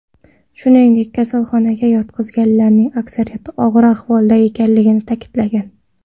Shuningdek, kasalxonaga yotqizilganlarning aksariyati og‘ir ahvolda ekanligini ta’kidlagan.